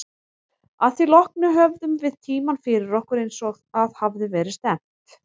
Að því loknu höfðum við tímann fyrir okkur, eins og að hafði verið stefnt.